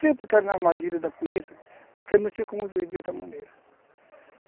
Sempre ficaram na armadilha da polícia, porque não tinha como viver de outra maneira.